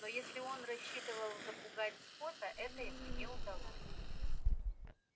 но если он рассчитывал запугать скотта это ему не удалось